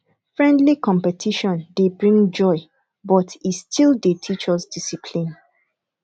friendly competition dey bring joy but e still dey teach us discipline